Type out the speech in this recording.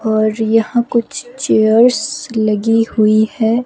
और यहां कुछ चेयर्स लगी हुई है।